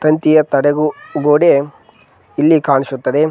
ತಂತಿಯ ತಡೆಗು ಗೋಡೆ ಇಲ್ಲಿ ಕಾಣಿಸುತ್ತದೆ